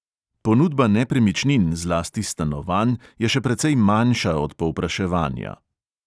Ponudba nepremičnin, zlasti stanovanj, je še precej manjša od povpraševanja.